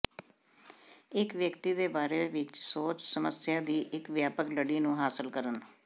ਇੱਕ ਵਿਅਕਤੀ ਦੇ ਬਾਰੇ ਵਿੱਚ ਸੋਚ ਸਮੱਸਿਆ ਦੀ ਇੱਕ ਵਿਆਪਕ ਲੜੀ ਨੂੰ ਹਾਸਲ ਕਰਨ